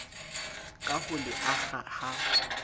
ka ho le akga ha